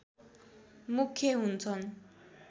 मुख्य हुन्छन्